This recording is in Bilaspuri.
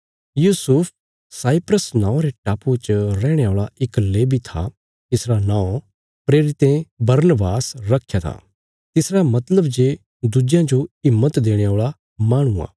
Yusuf Cyprus नौआं रे टापुये च रैहणे औल़ा इक लेवी था तिसरा नौं प्रेरितें बरनबास रखया था तिसरा मतलब जे दुज्जेयां जो हिम्मत देणे औल़ा माहणु आ